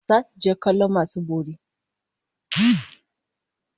Zasu je kallon masu bori